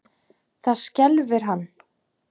Það skelfir hann.